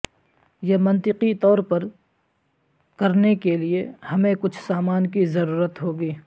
یہ منطقی طور پر کرنے کے لئے ہمیں کچھ سامان کی ضرورت ہوگی